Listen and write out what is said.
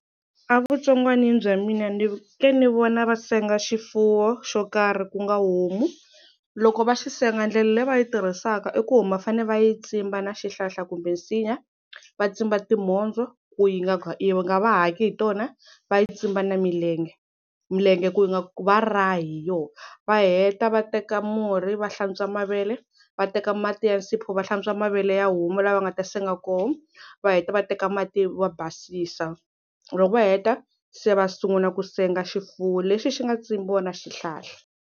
A vutsongwanini bya mina ni ke ni vona va senga xifuwo xo karhi ku nga homu loko va xi senga ndlela leyi va yi tirhisaka i ku homa fane va yi tsimba na xihlahla kumbe nsinya va tsimba timhondzo ku yi nga yi nga va haki hi tona va yi tsimba na milenge milenge ku yi nga va rahi hi yona, va heta va teka murhi va hlantswa mavele va teka mati ya nsipho va hlantswa mavele ya homa la va nga ta senga kona va heta va teka mati va basisa loko va heta se va sungula ku senga xifuwo lexi xi nga tsimbiwa na xihlahla.